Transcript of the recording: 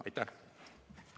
Aitäh!